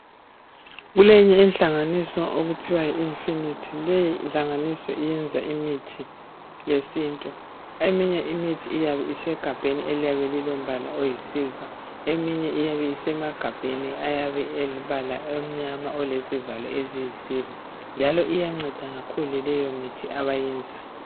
Kulenye inhlanganiso okuthiwa yi Infinite leyi nhlanganiso iyenza imithi yesiNtu eminye imithi iyabe isegabheni eliyabe lilombala oyisilver eminye iyabe isemagabheni ayabe elebala omnyama olezivalo eziyisilver njalo iyanceda kakhulu leyomithi abayenzayo.